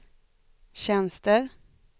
tjänster